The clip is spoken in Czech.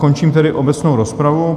Končím tedy obecnou rozpravu.